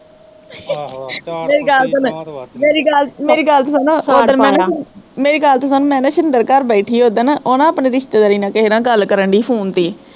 ਮੇਰੀ ਗੱਲ ਸੁਣ, ਮੇਰੀ ਗੱਲ ਤਾਂ ਸੁਣੋ ਓਦਣ ਮੈਂ ਨਾ, ਮੇਰੀ ਗੱਲ ਤੇ ਸੁਣ, ਮੈਂ ਨਾ ਸ਼ਿੰਦਰ ਘਰ ਬੈਠੀ ਸਾ ਓਦਣ, ਓਹ ਨਾ ਆਪਣੇ ਰਿਸਤੇਦਾਰੀ ਨਾਲ਼ ਕਿਸੇ ਗੱਲ ਕਰਨ ਡਈ ਸੀ phone ਤੇ ਈ